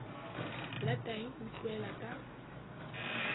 la tahi o utlwela ka